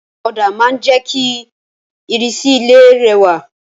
Òdà ma n je ki ìrísí ilé rẹwà